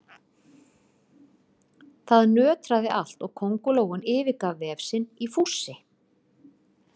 Það nötraði allt og kóngulóin yfirgaf vef sinn í fússi.